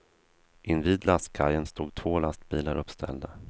Invid lastkajen stod två lastbilar uppställda.